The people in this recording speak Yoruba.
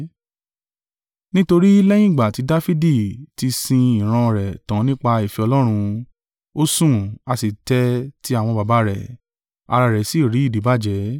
“Nítorí lẹ́yìn ìgbà ti Dafidi ti sin ìran rẹ tan nípa ìfẹ́ Ọlọ́run, ó sùn, a sì tẹ́ ẹ ti àwọn baba rẹ̀, ara rẹ̀ sì rí ìdíbàjẹ́.